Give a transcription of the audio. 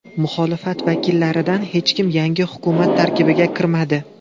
Muxolifat vakillaridan hech kim yangi hukumat tarkibiga kirmadi.